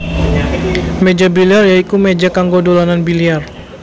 Méja biliar ya iku méja kanggo dolanan biliar